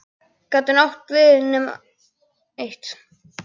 Gat hún átt við nema eitt?